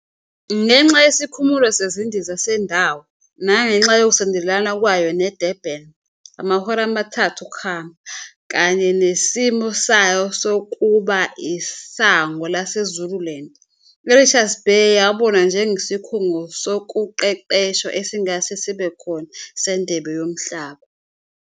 Ngenxa yesikhumulo sezindiza sendawo, nangenxa yokusondelana kwayo neDurban, amahora amathathu okuhamba, kanye nesimo sayo sokuba isango laseZululand, iRichards Bay yabonwa njengesikhungo sokuqeqeshwa esingase sibe khona seNdebe Yomhlaba.